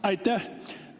Aitäh!